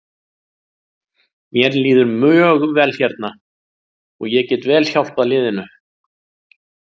Mér líður mjög vel hérna og ég get vel hjálpað liðinu.